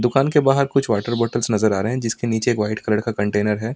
दुकान के बाहर कुछ वाटर बोतल्स नजर आ रहे हैं जिसके नीचे एक वाइट कलर का कंटेनर है।